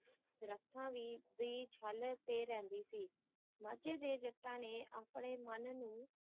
ਦਰੱਖਤਾਂ ਦੀ ਦੀ ਛਿੱਲ ‘ਤੇ ਰਹਿੰਦੀ ਸੀ ਮਾਝੇ ਦੇ ਜੱਟਾਂ ਨੇ ਆਪਣੇ ਮਨ ਨੂੰ